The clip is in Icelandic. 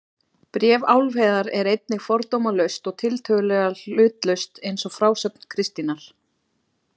Bréf Álfheiðar er einnig fordómalaust og tiltölulega hlutlaust eins og frásögn Kristínar.